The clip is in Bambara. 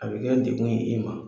A bɛ kɛ dekun ye i ma.